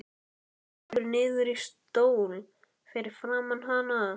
Hann lekur niður í stól fyrir framan hana.